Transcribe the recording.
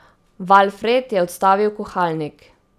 Valfred je odstavil kuhalnik.